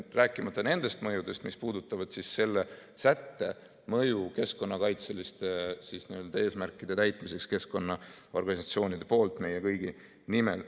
Rääkimata nendest mõjudest, mis puudutavad selle sätte mõju keskkonnakaitseliste eesmärkide täitmiseks keskkonnaorganisatsioonide poolt meie kõigi nimel.